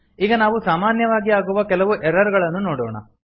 ಈಗ ನಾವು ಸಾಮಾನ್ಯವಾಗಿ ಆಗುವ ಕೆಲವು ಎರರ್ ಗಳನ್ನು ನೋಡೋಣ